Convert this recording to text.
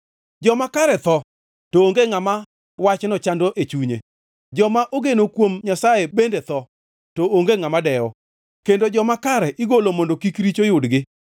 Joma kare tho, to onge ngʼama wachno chando e chunye, joma ogeno kuom Nyasaye bende tho, to onge ngʼama dewo kendo joma kare igolo mondo kik richo yudgi.